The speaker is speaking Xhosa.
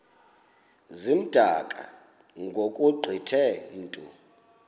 zimdaka ngokugqithe mntu